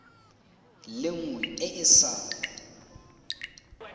le nngwe e e sa